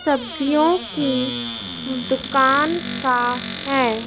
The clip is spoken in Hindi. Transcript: सब्जियों की दुकान का है।